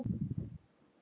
Það væri mjög gaman.